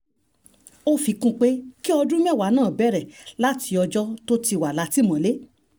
ó fi kún un pé kí ọdún mẹ́wàá náà bẹ̀rẹ̀ láti ọjọ́ tó ti wà látìmọ́lé